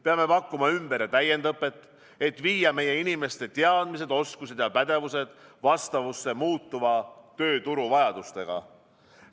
Peame pakkuma ümber- ja täiendõpet, et viia meie inimeste teadmised, oskused ja pädevused vastavusse muutuva tööturu vajadustega.